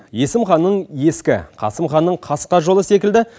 есім ханның ескі қасым ханның қасқа жолы секілді